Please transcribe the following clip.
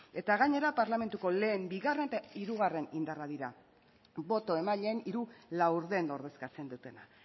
eta gainera parlamentuko lehen bigarren eta hirugarren indarrak dira boto emaileen hiru laurden ordezkatzen dutena